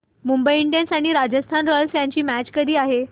Mumbai Indians आणि Rajasthan Royals यांची match कधी आहे